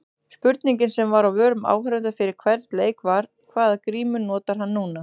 Spurningin sem var á vörum áhorfenda fyrir hvern leik var- hvaða grímu notar hann núna?